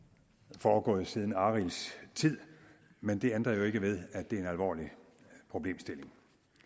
foregået siden arilds tid men det ændrer jo ikke ved at det er en alvorlig problemstilling